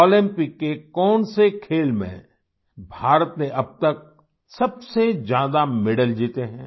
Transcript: Olympic के कौन से खेल में भारत ने अब तक सबसे ज्यादा मेडल जीते हैं